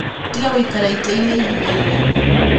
Tiga gũikara itĩinĩ ihinda iraihu